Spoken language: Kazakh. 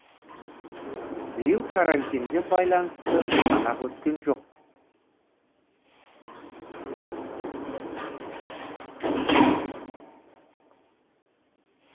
биыл карантинге байланысты санақ өткен жоқ